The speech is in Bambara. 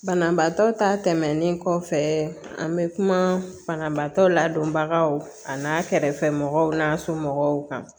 Banabaatɔ ta tɛmɛnen kɔfɛ an bɛ kuma banabaatɔ ladonbagaw ka n'a kɛrɛfɛ mɔgɔw n'a somɔgɔw kan